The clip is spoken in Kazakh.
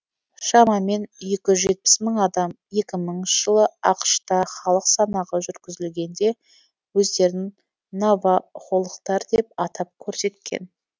шамамен екі жүз жетпіс мың адам екі мыңыншы жылы ақш та халық санағы жүргізілгенде өздерін навахолықтар деп атап көрсеткен